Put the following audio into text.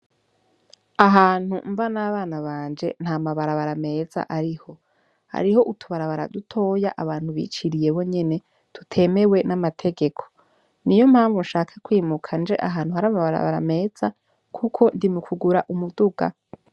Ahantu mba n'abana banje ntamabarabara meza ariho hariho utubarabara dutoya abantu biciriye bonyene tutemewe n'amategeko niyo mpamvu shaka kwimuka nje ahantu hari amabarabara meza kuko ndi mu kugura umuduga.